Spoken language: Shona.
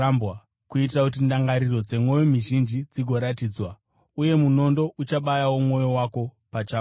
kuitira kuti ndangariro dzemwoyo mizhinji dzigoratidzwa. Uye munondo uchabayawo mwoyo wako pachako.”